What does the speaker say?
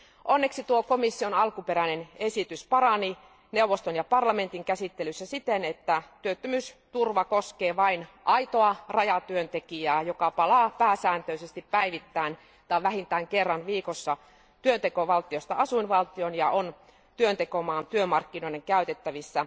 Onneksi tuo komission alkuperäinen esitys parani neuvoston ja parlamentin käsittelyssä siten, että työttömyysturva koskee vain aitoa rajatyöntekijää, joka palaa pääsääntöisesti päivittäin tai vähintään kerran viikossa työntekovaltiosta asuinvaltioon ja on työntekomaan työmarkkinoiden käytettävissä.